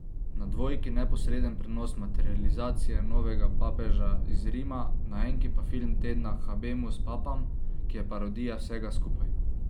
Na dvojki neposreden prenos materializacije novega papeža iz Rima, na enki pa film tedna Habemus papam, ki je parodija vsega skupaj.